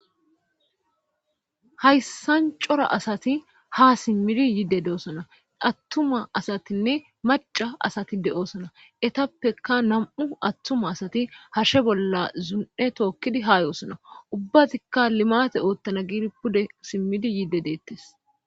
hayssan cora asati ha simmidi yiide doosona attuma asatinne maca asati de7oosona etappeka nam7u attuma asati harshe bolla zun7e tookkidi haa yoosona ubbatikka limate oottana giiri pude simmidi yiide deettes